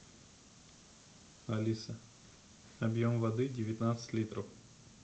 алиса объем воды девятнадцать литров